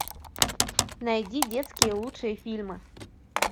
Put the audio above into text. найди детские лучшие фильмы